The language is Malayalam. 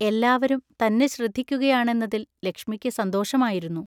എല്ലാവരും തന്നെ ശ്രദ്ധിക്കുകയാണെന്നതിൽ ലക്ഷ്മിക്ക് സന്തോഷമായിരുന്നു.